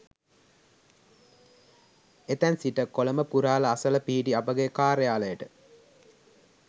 එතැන් සිට කොළඹ පුරහල අසල පිහිටි අපගේ කාර්යාලයට